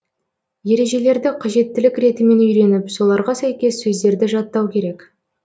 ережелерді қажеттілік ретімен үйреніп соларға сәйкес сөздерді жаттау керек